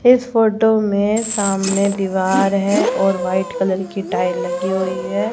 इस फोटो में सामने दीवार है और वाइट कलर की टाइल लगी हुई है।